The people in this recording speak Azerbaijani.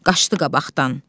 Qaçdı qabaqdan.